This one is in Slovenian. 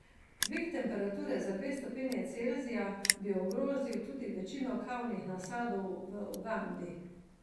Dvig temperature za dve stopinji Celzija bi ogrozil tudi večino kavnih nasadov v Ugandi.